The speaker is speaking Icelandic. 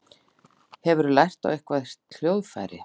Hefurðu lært á eitthvert hljóðfæri?